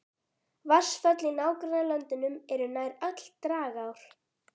Vatnsföll í nágrannalöndunum eru nær öll dragár.